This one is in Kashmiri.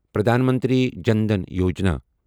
پرٛدھان منتری جَن دھٛن یوجنا